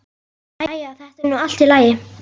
Jæja, þetta er nú allt í lagi.